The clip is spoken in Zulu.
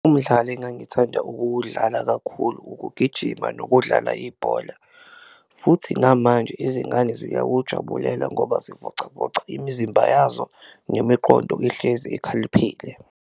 Umdlalo engangithanda ukuwudlala kakhulu ukugijima nokudlala ibhola futhi namanje izingane ziyawujabulela ngoba zivocavoca imizimba yazo, nemiqondo ihlezi ikhaliphile.